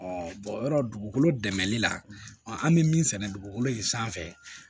yɔrɔ dugukolo dɛmɛli la an bɛ min sɛnɛ dugukolo in sanfɛ